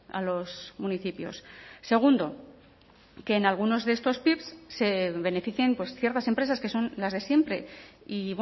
a los municipios segundo que en algunos de estos pips se beneficien ciertas empresas que son las de siempre y